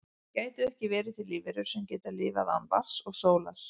gætu ekki verið til lífverur sem geta lifað án vatns og sólar